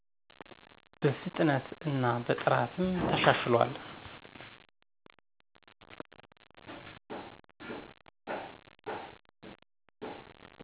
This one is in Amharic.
በፍጥነት እና በጥራትም ተሻሽሏል።